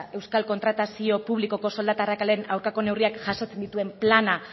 euskal kontratazio publikoko soldata arrakalaren aurkako neurriak jasotzen dituen plana